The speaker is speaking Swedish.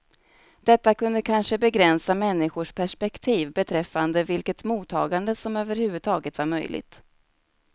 Detta kunde kanske begränsa människors perspektiv beträffande vilket mottagande som överhuvudtaget var möjligt.